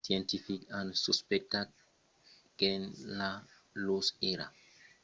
los scientifics an suspectat qu'enceladus èra geologicament actiu e una possibla origina de l'anèl e de glaç de saturn